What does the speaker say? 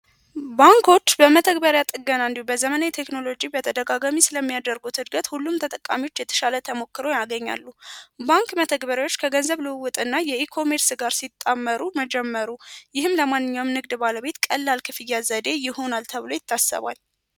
ባንኮች በመተግበሪያ ጥገና እንዲሁም በዘመናዊ ቴክኖሎጂ በተደጋጋሚ ስለሚያደርጉት እድገት ሁሉም ተጠቃሚዎች የተሻለ ተሞክሮ ያገኛሉ። ባንክ መተግበሪያዎች ከገንዘብ ልውውጥ እና ኢ-ኮሜርስ ሲጣመሩ መጀመሩ ይህም ለማንኛውም ንግድ ባለቤት ቀላል የክፍያ ዘዴ ይሆናል ተብሎ ይታሰባል።